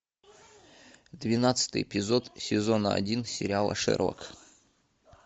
двенадцатый эпизод сезона один сериала шерлок